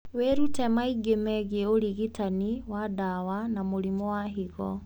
Wĩrute maingĩ megiĩ ũrigitani wa ndawa na mũrimũ wa higo